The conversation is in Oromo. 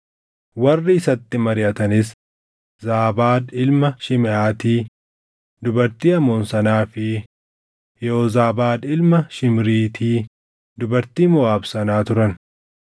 Warri isatti mariʼatanis Zaabaad ilma Shimeʼaati dubartii Amoon sanaa fi Yehoozaabaad ilma Shimriiti dubartii Moʼaab sanaa turan.